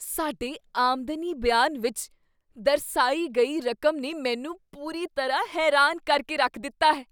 ਸਾਡੇ ਆਮਦਨੀ ਬਿਆਨ ਵਿੱਚ ਦਰਸਾਈ ਗਈ ਰਕਮ ਨੇ ਮੈਨੂੰ ਪੂਰੀ ਤਰ੍ਹਾਂ ਹੈਰਾਨ ਕਰ ਕੇ ਰੱਖ ਦਿੱਤਾ ਹੈ।